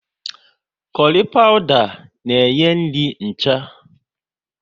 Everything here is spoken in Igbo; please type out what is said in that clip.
Kurry pawuda na enye nri ncha